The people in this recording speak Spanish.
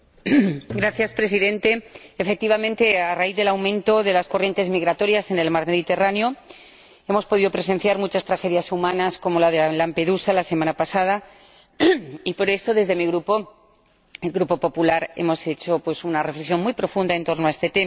Señor Presidente, efectivamente, a raíz del aumento de las corrientes migratorias en el mar Mediterráneo, hemos podido presenciar muchas tragedias humanas, como la de Lampedusa la semana pasada, y, por esto, desde mi Grupo —el Grupo PPE— hemos hecho una reflexión muy profunda en torno a este tema.